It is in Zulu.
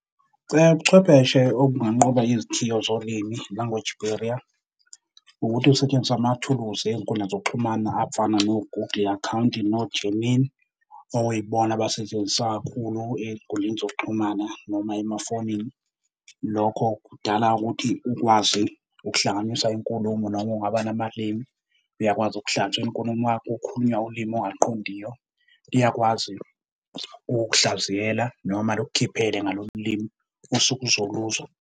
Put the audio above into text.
Ubuchwepheshe obunganqoba izithiyo zolimi, language barrier, ukuthi kusetshenziswa amathuluzi ey'nkundleni zokuxhumana abafana no-Google account, no-Gmail okuyibona abasetshenziswa kakhulu ey'nkundleni zokuxhumana noma emafonini. Lokho kudala ukuthi ukwazi ukuhlanganisa inkulumo noma kungaba namalimi, uyakwazi inkulumo yakho. Kukhulunywa ulimi ongaluqondiyo, iyakwazi ukukuhlaziya noma lukukhiphele ngalolu limi osuke uzoluzwa.